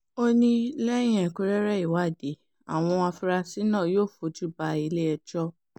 ó ní lẹ́yìn ẹ̀kúnrẹ́rẹ́ ìwádìí àwọn afurasí náà yóò fojú ba ilé-ẹjọ́